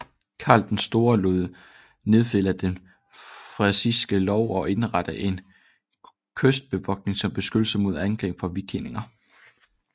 Karl den Store lod nedfælde den frisiske lov og indrettede en kystbevogtning som beskyttelse mod angreb fra vikinger